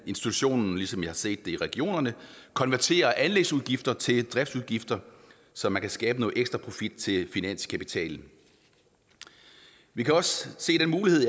institutionen ligesom vi har set det i regionerne konverterer anlægsudgifter til driftsudgifter så man kan skabe noget ekstra profit til finanskapitalen vi kan også se den mulighed